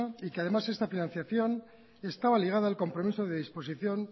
y que además esta financiación estaba ligada al compromiso de disposición